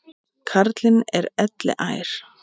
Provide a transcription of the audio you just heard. Karlinn er elliær.